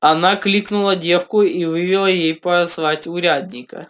она кликнула девку и велела ей позвать урядника